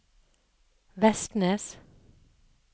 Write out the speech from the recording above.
Vestnes